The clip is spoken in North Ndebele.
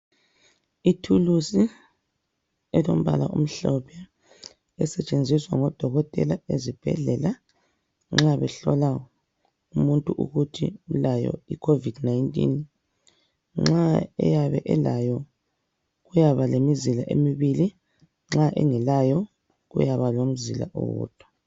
Ithulusi elombala omhlophe esetshenziswa ngodokotela ezibhedlela nxa behlola umuntu ukuthi ulayo icovid 19.Nxa eyabe elayo kuyaba lemizila emibili, nxa engelayo kuyaba lomzila owodwa.